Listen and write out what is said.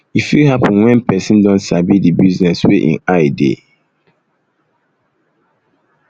e fit happen when person um don sabi di business wey im eye dey